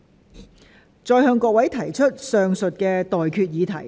我現在向各位提出上述待決議題。